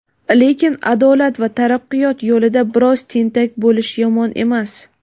Lekin adolat va taraqqiyot yo‘lida biroz tentak bo‘lish yomon emas.